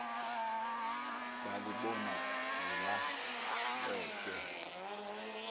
balhi bona zilahleke